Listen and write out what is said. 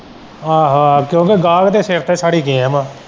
ਆਹੋ-ਆਹੋ ਕਿਉਂਕਿ ਗਾਹਕ ਦੇ ਸਿਰ ਤੇ ਚੜੀ ਗਿਆ ਮੈਂ।